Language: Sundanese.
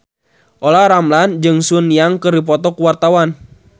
Olla Ramlan jeung Sun Yang keur dipoto ku wartawan